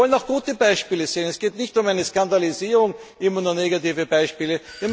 Wir wollen auch gute Beispiele sehen. Es geht nicht um eine Skandalisierung mit immer nur negativen Beispielen.